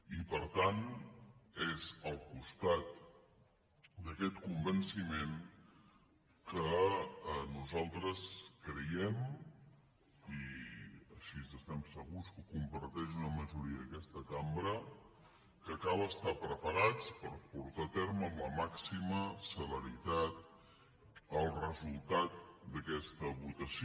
i per tant és al costat d’aquest convenciment que nosaltres creiem i així estem segurs que ho comparteix una majoria d’aquesta cambra que cal estar preparats per portar a terme amb la màxima celeritat el resultat d’aquesta votació